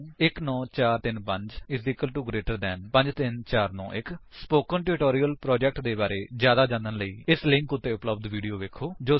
ਉਦਾਹਰਣ 19435 GT 53491 spoken tutorial project ਦੇ ਬਾਰੇ ਵਿੱਚ ਜਿਆਦਾ ਜਾਨਣ ਲਈ ਇਸ ਲਿੰਕ ਉੱਤੇ ਉਪਲੱਬਧ ਵੀਡੀਓ ਵੇਖੋ ਜੋ ਸਪੋਕਨ ਪ੍ਰੋਜੇਕਟ ਟਿਊਟੋਰਿਅਲ ਨੂੰ ਸਾਰਾਂਸ਼ਿਤ ਕਰਦਾ ਹੈ